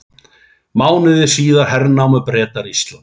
Mánuði síðar hernámu Bretar Ísland.